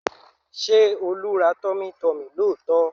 Ṣé Olú ra tummytummy lóòótọ́?